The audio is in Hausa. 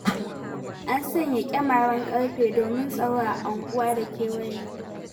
An sanya ƙyamaren ƙarfe domin tsaro a unguwarmu da kewaye.